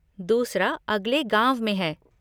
दूसरा, अगले गाँव में है।